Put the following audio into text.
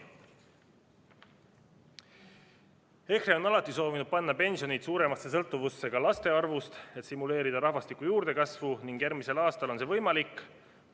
EKRE on alati soovinud panna pensionid suuremasse sõltuvusse laste arvust, et stimuleerida rahvastiku juurdekasvu, ning järgmisel aastal on see võimalik.